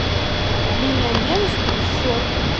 миллионер из трущоб